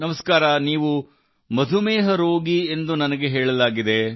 ನಮಸ್ಕಾರ ನೀವು ಮಧುಮೇಹ ರೋಗಿ ಎಂದು ನನಗೆ ಹೇಳಲಾಗಿದೆ